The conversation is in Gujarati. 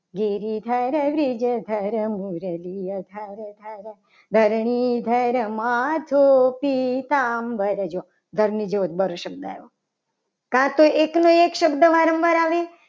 ગિરિધર બ્રિજદર મુરલીધર ધરાધારા ધરણીધર માથે પીતાંબર જો ધરણીધર જો શબ્દ આવ્યો.